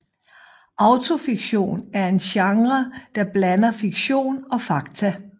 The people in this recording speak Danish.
Autofiktion er en genre der blander fiktion og fakta